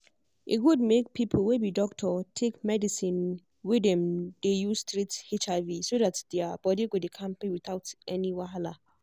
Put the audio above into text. e good make people wey be doctor take medicine wey dem dey use treat hiv so that their body go dey kampe without any wahala.